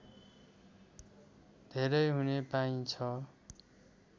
धेरै हुने पाइन्छ